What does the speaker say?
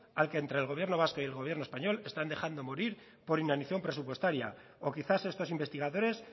al que entre el gobierno vasco y el gobierno español están dejando morir por inacción presupuestaria o quizás estos investigadores